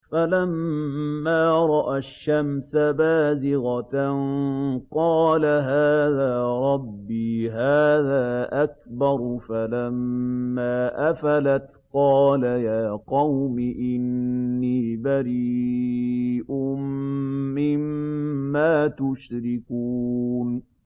فَلَمَّا رَأَى الشَّمْسَ بَازِغَةً قَالَ هَٰذَا رَبِّي هَٰذَا أَكْبَرُ ۖ فَلَمَّا أَفَلَتْ قَالَ يَا قَوْمِ إِنِّي بَرِيءٌ مِّمَّا تُشْرِكُونَ